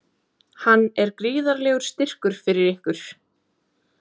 Hann er gríðarlegur styrkur fyrir ykkur?